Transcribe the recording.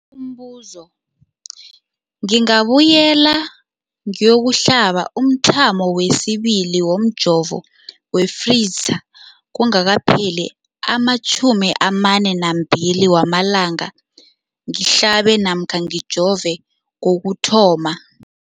Umbuzo, ngingabuyela ngiyokuhlaba umthamo wesibili womjovo we-Pfizer kungakapheli ama-42 wamalanga ngihlabe namkha ngijove kokuthoma.